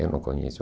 Eu não conheço.